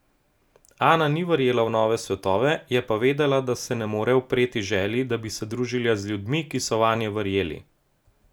Ana ni verjela v nove svetove, je pa vedela, da se ne more upreti želji, da bi se družila z ljudmi, ki so vanje verjeli.